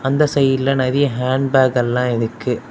அந்த சைடுல நிறைய ஹேண்ட் பேக் எல்லா எனக்கு.